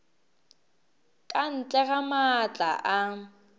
ka ntle ga maatla a